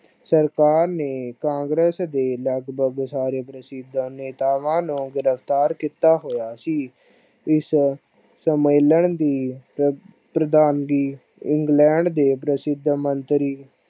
ਸਰਕਾਰ ਨੇ ਕਾਂਗਰਸ ਲੱਗਭਗ ਸਾਰੇ ਪ੍ਰਸਿੱਧ ਨੇਤਾਵਾਂ ਨੂੰ ਗਿਰਫ਼ਤਾਰ ਕੀਤਾ ਹੋਇਆ ਸੀ। ਇਸ ਸੰਮੇਲਨ ਦੀ ਪਰਪ੍ਰਦਾਹਣਗੀ ਇੰਗਲੈਂਡ ਦੇ ਪ੍ਰਸਿੱਧ ਮੰਤਰੀ